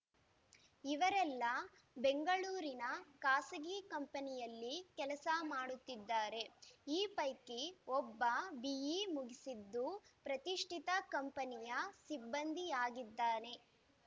ಇವರೆಲ್ಲ ಬೆಂಗಳೂರಿನ ಖಾಸಗಿ ಕಂಪನಿಯಲ್ಲಿ ಕೆಲಸ ಮಾಡುತ್ತಿದ್ದಾರೆ ಈ ಪೈಕಿ ಒಬ್ಬ ಬಿಇ ಮುಗಿಸಿದ್ದು ಪ್ರತಿಷ್ಠಿತ ಕಂಪನಿಯ ಸಿಬ್ಬಂದಿಯಾಗಿದ್ದಾನೆ